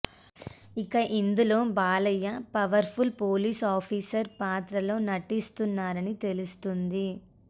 ఇక ఇందులో Balayya powerful police officer పాత్రలో నటిస్తున్నారని తెలుస్తోంది